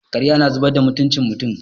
Ƙarya na zubar da mutucin mutum.